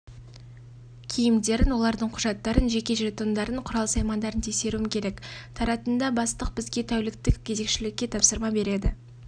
киімдерін олардың құжаттарын жеке жетондарын құрал-саймандарын тексеруім керек таратында бастық бізге тәуліктік кезекшілікке тапсырма береді